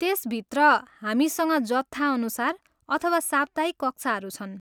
त्यसभित्र, हामीसँग जत्थाअनुसार अथवा साप्ताहिक कक्षाहरू छन्।